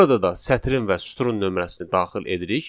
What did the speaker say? Burada da sətrin və sütunun nömrəsini daxil edirik.